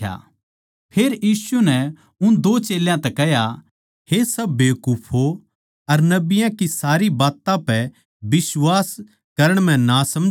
फेर यीशु नै उन दो चेल्यां तै कह्या हे सब बावळो अर नबियाँ की सारी बात्तां पै बिश्वास करण म्ह नासमझों